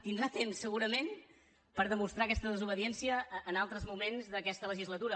tindrà temps segurament per demostrar aquesta desobediència en altres moments d’aquesta legislatura